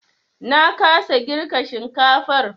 Na kasa girka shinkafar.